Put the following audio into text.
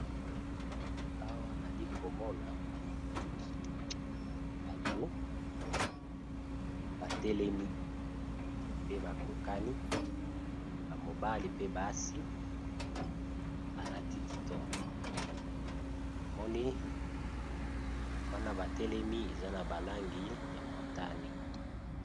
Awa nali ko mona bato ba telemi pe ba kokani, ba mobali pe basi ba lati kitoko, na moni wana ba telemi eza na ba langi ya motane .